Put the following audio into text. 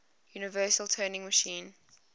universal turing machine